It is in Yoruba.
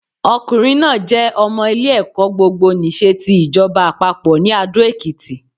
Ọkùnrin náà jé ọmọ ilé ẹ̀kọ́ gbogbo nìse ti ìjọba àpapọ̀ ní Adó Èkìtì